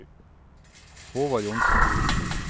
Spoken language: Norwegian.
Håvard Johnsen